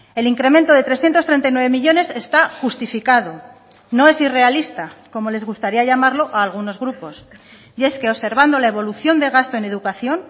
el incremento de trescientos treinta y nueve millónes está justificado no es irrealista como les gustaría llamarlo a algunos grupos y es que observando la evolución de gasto en educación